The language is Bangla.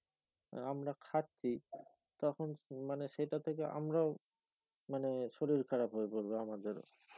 আমরা খাচ্ছি তখন মানে সেটা থেকে আমরাও মানে শরীর খারাপ হয়ে পরবে আমাদের